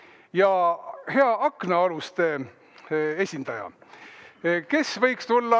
Kes võiks olla hea aknaaluste esindaja?